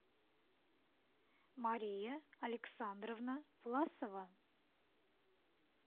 мария александровна власова